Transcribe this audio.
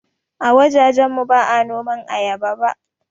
A wajajen mu ba noman ayaba ba